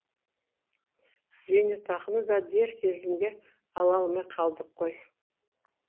зейнетақыны да дер кезінде ала алмай қалдық қой